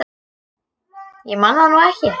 Ég man það nú ekki.